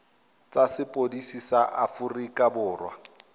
tsa sepodisi sa aforika borwa